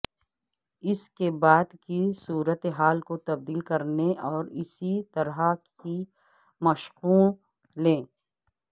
اس کے بعد کی صورت حال کو تبدیل کرنے اور اسی طرح کی مشقوں لے